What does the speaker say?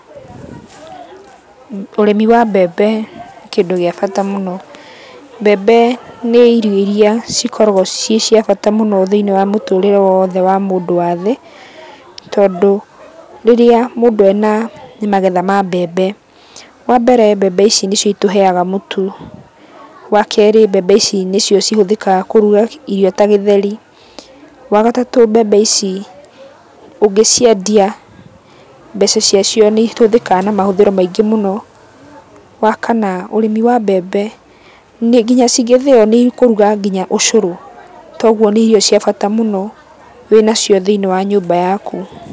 Ũrĩmi wa mbembe nĩ kĩndũ gĩa bata mũno. Mbembe nĩ irio iria cikoragũo ciĩciabata mũno thĩiniĩ wa mũtũrĩre woothe wa mũndũ wa thĩ, tondũ rĩrĩa mũndũ ena magetha ma mbembe, wambere mbembe ici nĩcio itũheaga mũtu. Wakerĩ mbembe ici nĩcio ihũthĩkaga kũruga irio ta gĩtheri. Wagatatũ mbembe ici ũngĩciendia mbeca ciacio nĩihũthĩkaga na mahũthĩro maingĩ mũno. Wakana ũrĩmi wa mbembe, nĩ kinya cingĩthĩo nĩikũruga kinya ũcũrũ. Toguo nĩ irio cia bata mũno wĩnacio thĩiniĩ wa nyũmba yaku.